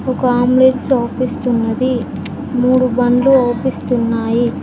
ఒక అవ్పిస్తున్నది మూడు బండ్లు అవ్పిస్తున్నాయి.